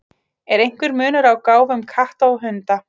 Er einhver munur á gáfum katta og hunda?